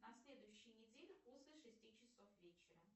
на следующей неделе после шести часов вечера